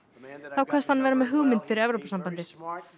þá kvaðst hann vera með hugmynd fyrir Evrópusambandið